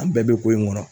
An bɛɛ bɛ ko in kɔnɔ